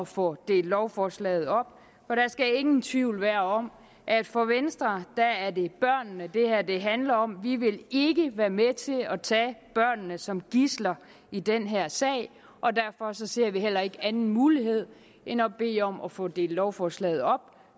få delt lovforslaget op for der skal ingen tvivl være om at for venstre er det børnene det handler om vi vil ikke være med til at tage børnene som gidsler i den her sag og derfor ser vi heller ikke anden mulighed end at bede om at få delt lovforslaget op